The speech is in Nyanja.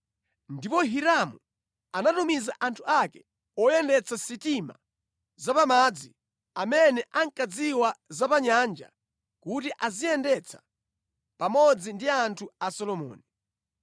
Ndipo Hiramu anatumiza anthu ake oyendetsa sitima zapamadzi amene ankadziwa za pa nyanja kuti aziyendetsa pamodzi ndi anthu a Solomoni.